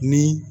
Ni